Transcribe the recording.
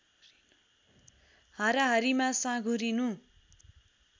हाराहारीमा साँघुरिनु